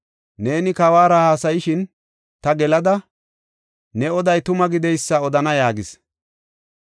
Neeni kawuwara haasayishin ta gelada, ne oday tuma gideysa odana” yaagis.